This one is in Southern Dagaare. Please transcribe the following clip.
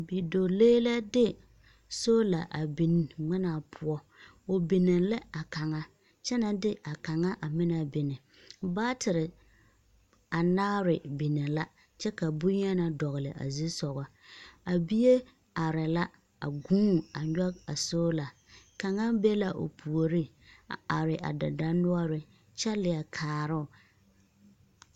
bidɔɔlee la de sola a biŋ ŋmenaa poɔ. O binne la a kaŋa kyɛ na de a kaŋa a meŋ na binne baatere anaare binne la kyɛ ka boŋyeni dɔgele a zu soga a bie are la a gũũni a nyɔge a soola kaŋa be o puoriŋ a are dendɔnoɔreŋ kyɛ leɛkaara o